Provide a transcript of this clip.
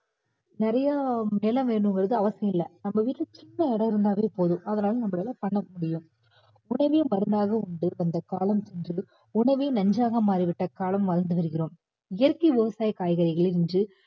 நிறைய நிலம் வேணும்கிறது அவசியம் இல்ல நம்ம வீட்ல சின்ன இடம் இருந்தாலே போதும் அதனால நம்மளால பண்ண முடியும் உணவே மருந்தாக உண்டு வந்த காலம் உண்டு உணவே நஞ்சாக மாறிவிட்ட காலம் வாழ்ந்து வருகிறோம். இயற்கை விவசாய காய்கறிகளை இன்று